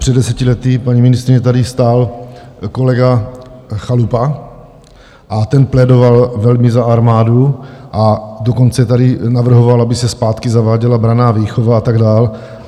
Před deseti lety, paní ministryně, tady stál kolega Chalupa a ten plédoval velmi za armádu, a dokonce tady navrhoval, aby se zpátky zaváděla branná výchova a tak dál.